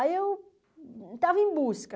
Aí eu estava em busca.